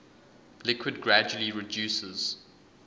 liquid gradually reduces